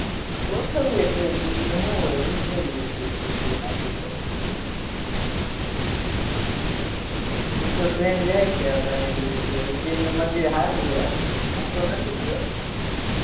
ગોઠવ્યે trip બીજું શું હોય ઉજૈનની ટ્રીપ ગોઠવી નાખ્યે તો એમતો ટ્રેન જાય છે આપણે આયથી ઉજૈન ઉજૈનનું મંદિર સારું છે હૂતો નથી ગયો